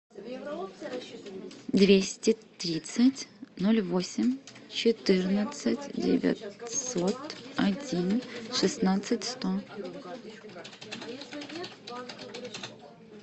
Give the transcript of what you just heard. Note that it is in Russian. двести тридцать ноль восемь четырнадцать девятьсот один шестнадцать сто